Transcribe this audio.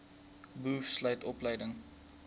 boov sluit opleiding